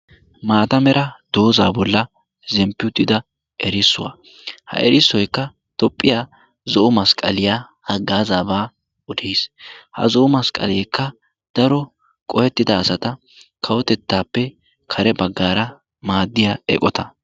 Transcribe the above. maatamera doozaa bolla zemppiuutida erissuwaa ha erissoikka tophphiyaa zo'o masqqaliyaa ha gaazaabaa odees ha zo'o masqqaleekka daro qohettida asata kawotettaappe kare baggaara maaddiyaa eqota.